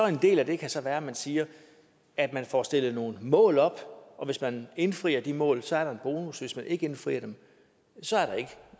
en del af det kan så være at man siger at man får stillet nogle mål op og hvis man indfrier de mål så er der en bonus og hvis man ikke indfrier dem så er